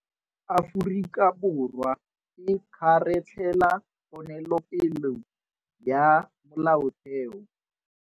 Aforika Borwa e kgaratlhela ponelopele ya Molaotheo.